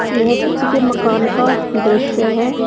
यह किसी के मकान का दृश्य है।